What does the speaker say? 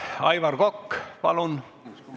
Aivar Kokk, palun!